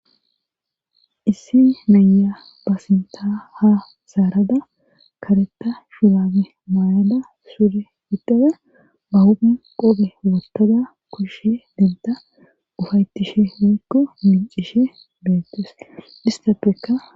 issi meya ba sinta ha zaarada kareta shulame maayada sure idada ba humun qobe wotada kushshe denta ufaytishe moykko mincishe beettes istappeka